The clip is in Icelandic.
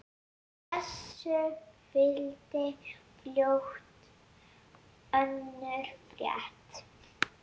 Þessu fylgdi fljótt önnur frétt